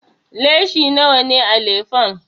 Leshi nawa ne a lefen?